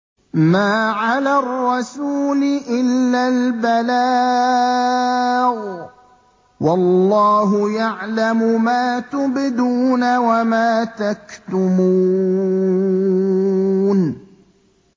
مَّا عَلَى الرَّسُولِ إِلَّا الْبَلَاغُ ۗ وَاللَّهُ يَعْلَمُ مَا تُبْدُونَ وَمَا تَكْتُمُونَ